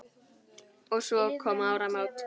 Og svo koma áramót.